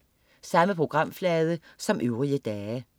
Samme programflade som øvrige dage